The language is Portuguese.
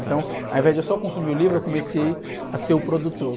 Então, ao invés de eu só consumir o livro, eu comecei a ser o produtor.